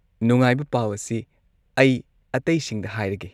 ꯅꯨꯡꯉꯥꯏꯕ ꯄꯥꯎ ꯑꯁꯤ ꯑꯩ ꯑꯇꯩꯁꯤꯡꯗ ꯍꯥꯏꯔꯒꯦ!